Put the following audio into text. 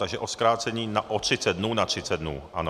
Takže o zkrácení o 30 dnů na 30 dnů, ano.